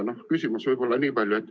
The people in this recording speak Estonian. Küsimust on võib-olla niipalju.